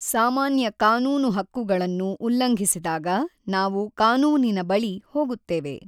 ಸಾಮಾನ್ಯ ಕಾನೂನು ಹಕ್ಕುಗಳನ್ನು ಉಲ್ಲಂಘಿಸಿದಾಗ ನಾವು ಕಾನೂನಿನ ಬಳಿ ಹೋಗುತ್ತೇವೆ.